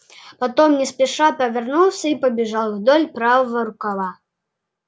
потом не спеша повернулся и побежал вдоль правого рукава